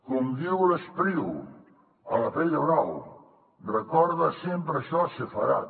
com diu l’espriu a la pell de brau recorda sempre això sepharad